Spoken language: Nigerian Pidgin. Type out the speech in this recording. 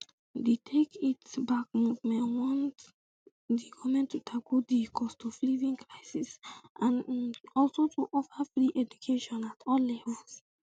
di take it back movement want um di goment to tackle di costofliving crisis and um also to offer free education at all levels